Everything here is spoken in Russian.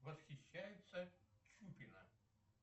восхищается чупина